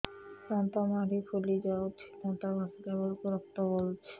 ଦାନ୍ତ ମାଢ଼ୀ ଫୁଲି ଯାଉଛି ଦାନ୍ତ ଘଷିଲା ବେଳକୁ ରକ୍ତ ଗଳୁଛି